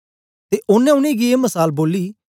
ते ओनें उनेंगी ए मसाल बोली